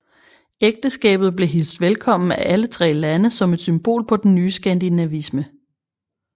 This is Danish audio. Ægteskabet blev hilst velkommen af alle tre lande som et symbol på den nye skandinavisme